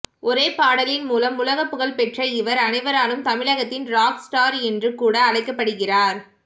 ஒரே பாடலின் மூலம் உலக புகழ் பெற்ற இவர் அனைவராலும் தமிழகத்தின் ராக்ஸ் ஸ்டார் என்று கூட அழைக்கப்படுகிறார்